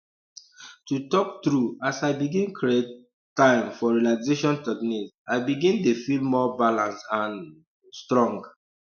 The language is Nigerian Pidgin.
to talk true as l begin create um time for relaxation technique i begin dey feel more balance and um strong